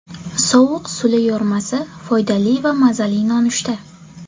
Sovuq suli yormasi foydali va mazali nonushta.